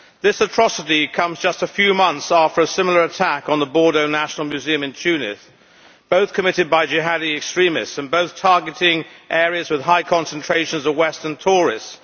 This atrocity comes just a few months after a similar attack on the Bardo National Museum in Tunis, both committed by Jihadi extremists and both targeting areas with high concentrations of Western tourists.